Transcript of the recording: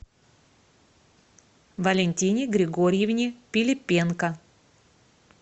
валентине григорьевне пилипенко